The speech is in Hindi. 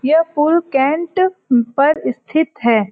यह फूल कैण्ट पर स्थित है।